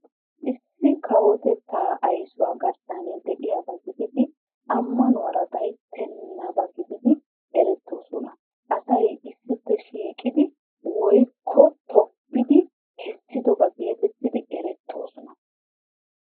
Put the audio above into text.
Issi kawotettaa aysuwa garssan de'iyaba gididi ammanuwaara gayttenaba gididi erettoosona. Asay issippe shiiqqidi woykko tobbiddi kesdiddoba getettidi erettoosona.